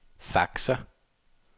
faxer